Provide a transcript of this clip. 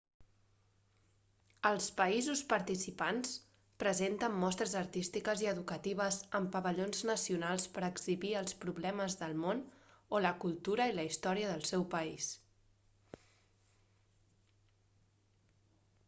els països participants presenten mostres artístiques i educatives en pavellons nacionals per a exhibir els problemes del món o la cultura i la història del seu país